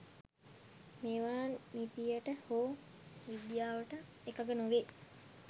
මේවා නිතියට හෝ විද්‍යාවට එකග නොවේ